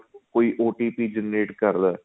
ਕੋਈ O T P generate ਕਰਦਾ